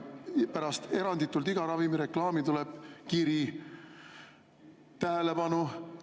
Eranditult pärast iga ravimireklaami tuleb kiri: "Tähelepanu!